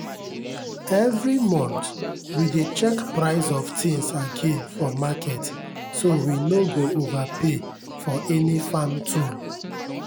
every month we dey check price of things again for market so we no go overpay for any farm tool.